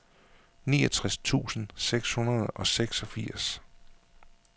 niogtres tusind seks hundrede og seksogfirs